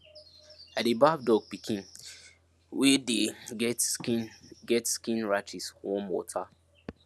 i dey baff dog pikin wey dey get skin get skin rashes warm water